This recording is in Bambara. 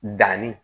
Danni